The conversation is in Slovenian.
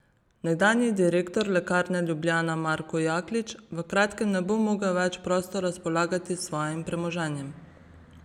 Nekdanji direktor Lekarne Ljubljana Marko Jaklič v kratkem ne bo mogel več prosto razpolagati s svojim premoženjem.